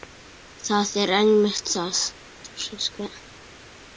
Það er einmitt það.